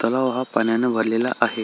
तलाव हा पाण्याने भरलेला आहे.